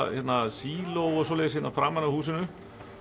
síló framan við húsinu